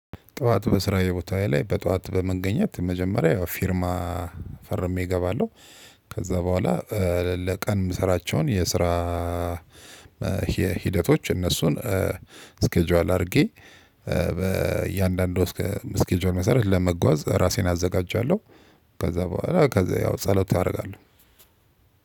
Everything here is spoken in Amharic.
ጠዋት በስራዬ ቦታዬ ላይ በጠዋት በመገኘት መጀመሪያ ያው ፊርማ ፈርሜ እገባለሁ። ከዛ በኋላ ለቀን የምሰራቸውን የስራ ሂደቶች እነሱን ስኬጁዋል አድርጌ በእያንዳንዱ ስኬጁዋል መሰረት ለመጓዝ ራሴን አዘጋጃለሁ። ከዛ በኋላ ከዛ ያው ጸሎት አደርጋለሁ።